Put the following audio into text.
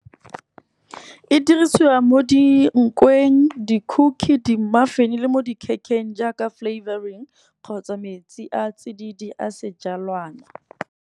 E dirisiwa mo di nkweng di-cookie, di-muffin le mo dikhekheng jaaka flavouring kgotsa metsi a tsididi a sejalwana.